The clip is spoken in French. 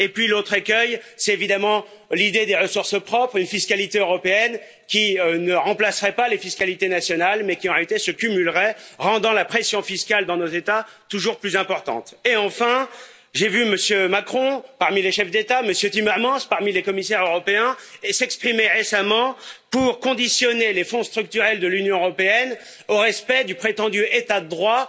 L'autre écueil, c'est évidemment l'idée des ressources propres une fiscalité européenne qui ne remplacerait pas les fiscalités nationales mais s'y ajouterait, rendant la pression fiscale dans nos États toujours plus importante. Et, enfin, j'ai vu Monsieur Macron parmi les chefs d'État, Monsieur Timmermans parmi les commissaires européens, s'exprimer récemment pour conditionner les Fonds structurels de l'Union européenne au respect du prétendu état droit,